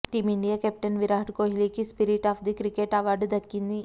team India captain Virat కోహ్లీకి spirit of the cricket award దక్కింది